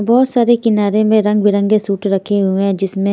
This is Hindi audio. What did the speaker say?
बहुत सारे किनारे में रंगबिरंगे सूट रखे हुए हैं जिसमें--